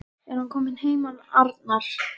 Er hann kominn heim hann Arnar?